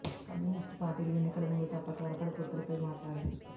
communist పార్టీలు ఎన్నికల ముందు తప్ప త్వరపడి పొత్తులపై మాట్లాడవు